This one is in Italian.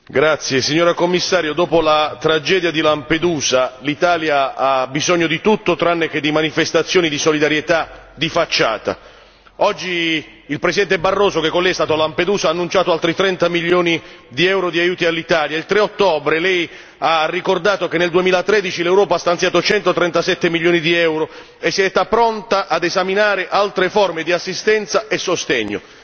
Signora Presidente, onorevoli colleghi, signora Commissario, dopo la tragedia di Lampedusa, l'Italia ha bisogno di tutto tranne che di manifestazioni di solidarietà di facciata. Oggi, il Presidente Barroso che con Lei è stato a Lampedusa ha annunciato altri 30 milioni di euro di aiuti all'Italia, il 3 ottobre Lei ha ricordato che nel 2013 l'Europa ha stanziato 137 milioni di euro e si è detta pronta a esaminare altre forme di assistenza e sostegno.